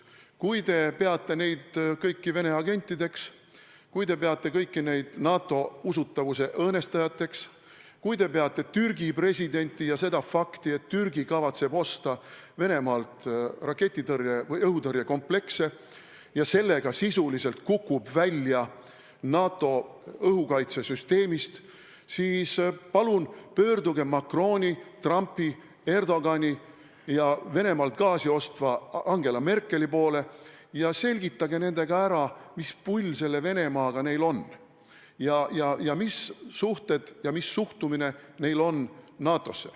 Kui te peate neid kõiki Venemaa agentideks, kui te peate neid kõiki NATO usutavuse õõnestajateks, kui te peate Türgi presidenti ja fakti, et Türgi kavatseb Venemaalt osta õhutõrjekomplekse ja kukub seetõttu NATO õhukaitsesüsteemist sisuliselt välja, siis palun pöörduge Macroni, Trumpi, Erdogani ja Venemaalt gaasi ostva Angela Merkeli poole ning selgitage välja, mis pull neil selle Venemaaga on ja mis suhted on neil NATO-ga ja milline on nende suhtumine NATO-sse.